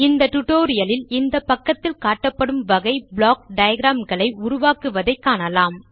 இந்த டியூட்டோரியல் லில் இந்த பக்கத்தில் காட்டப்படும் வகை ப்ளாக் டயாகிராம் களை உருவாக்குவதை காணலாம்